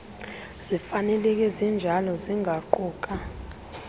zifaneleke zinjalo zingaquka